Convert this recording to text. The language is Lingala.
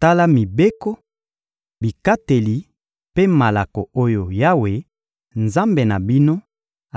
Tala mibeko, bikateli mpe malako oyo Yawe, Nzambe na bino,